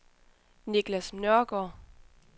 Nicklas Nørgaard